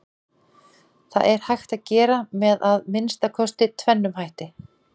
Það er hægt að gera með að minnsta kosti tvennum hætti.